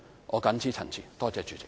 我謹此陳辭，多謝主席。